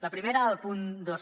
la primera al punt dos